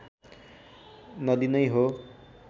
नदी नै हो